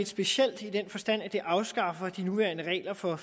specielt i den forstand at det vil afskaffe de nuværende regler for